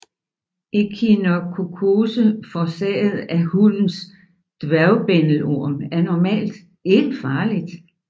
Ekinokokkose forårsaget af hundens dværgbændelorm er normalt ikke farligt